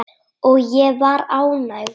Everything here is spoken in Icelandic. Og ég var ánægð.